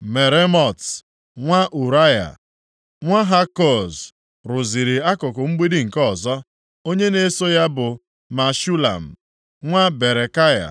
Meremot, nwa Ụraya, nwa Hakoz, rụziri akụkụ mgbidi nke ọzọ. Onye na-eso ya bụ Meshulam, nwa Berekaya,